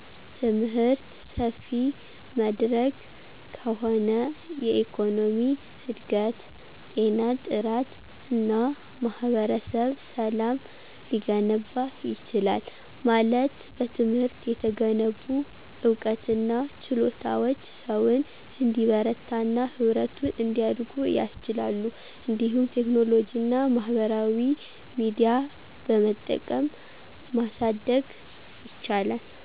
ትምህርት ሰፊ መድረክ ከሆነ የኢኮኖሚ እድገት፣ ጤና ጥራት እና ማህበረሰብ ሰላም ሊገነባ ይችላል። ማለት በትምህርት የተገነቡ ዕውቀትና ችሎታዎች ሰውን እንዲበረታና ህብረቱን እንዲያድጉ ያስችላሉ። እንዲሁም ቴክኖሎጂና ማህበራዊ ሚዲያ በመጠቀም ማሳደግ ይቻላል።